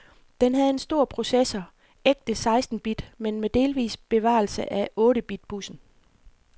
Den havde en stor processor, ægte seksten bit, men med delvis bevarelse af otte bit bussen.